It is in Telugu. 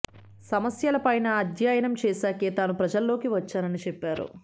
సమస్యల పైన అధ్యయనం చేశాకే తాను ప్రజలలోకి వచ్చానని చెప్పారు